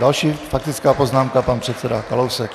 Další faktická poznámka, pan předseda Kalousek.